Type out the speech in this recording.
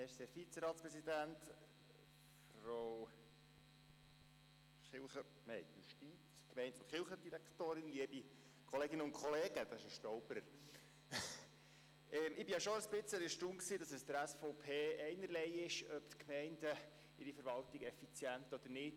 Ich bin schon etwas erstaunt, dass es der SVP egal ist, ob die Gemeinden ihre Verwaltung effizient führen oder nicht.